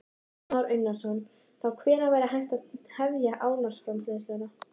Kristján Már Unnarsson: Þá hvenær væri hægt að hefja álframleiðslu?